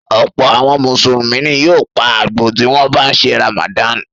Ọ̀pọ̀ àwọn Mùsùlùmí ni yóò pa àgbò tí wọ́n bá ń ṣe Ramadan.